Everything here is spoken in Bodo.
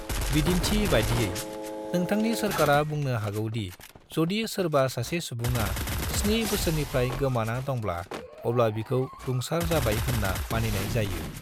बिदिन्थि बादियै, नोंथांनि सोरकारआ बुंनो हागौ दि जदि सोरबा सासे सुबुङा स्नि बोसोरनिफ्राय गोमाना दंब्ला अब्ला बिखौ रुंसार जाबाय होनना मानिनाय जायो।